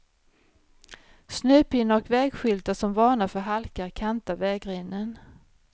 Snöpinnar och vägskyltar som varnar för halka kantar vägrenen.